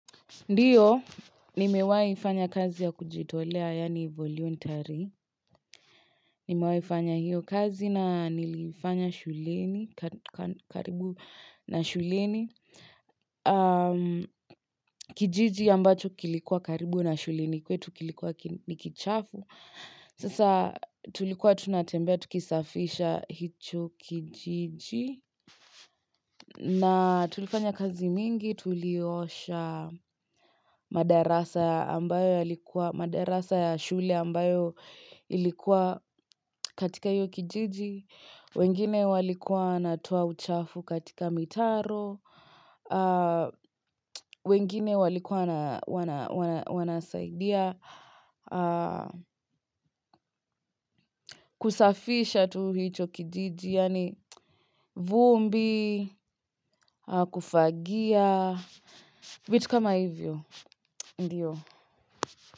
Ndio, nimewaifanya kazi ya kujitolea, yani voluntary. Nimewaifanya hiyo kazi na niliifanya shuleni, ka ka karibu na shuleni. Kijiji ambacho kilikuwa karibu na shuleni kwetu, kilikuwa kin nikichafu. Sasa tulikuwa tunatembea, tukisafisha hicho kijiji. Na tulifanya kazi mingi, tuliosha madarasa ambayo yali madarasa ya shule ambayo ilikuwa katika hio kijiji, wengine walikuwa natoa uchafu katika mitaro, wengine walikua na wana wana wanasaidia kusafisha tu hicho kijiji, yani vumbi, kufagia, vitu kama hivyo. Ndio.